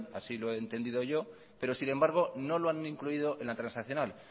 así lo he entendido yo pero sin embargo no lo han incluido en la transaccional